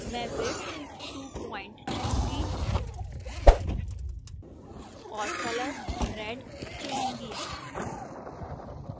मैं width 200 pt चुनूंगी और color red चुनूंगी